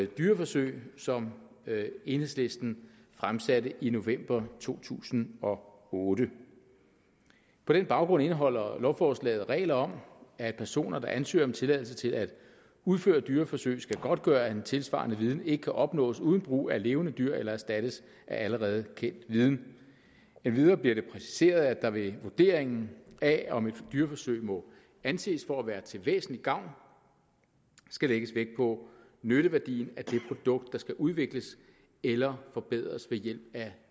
dyreforsøg som enhedslisten fremsatte i november to tusind og otte på den baggrund indeholder lovforslaget regler om at personer der ansøger om tilladelse til at udføre dyreforsøg skal godtgøre at en tilsvarende viden ikke kan opnås uden brug af levende dyr eller erstattes af allerede kendt viden endvidere bliver det præciseret at der ved vurderingen af om et dyreforsøg må anses for at være til væsentlig gavn skal lægges vægt på nytteværdien af det produkt der skal udvikles eller forbedres ved hjælp af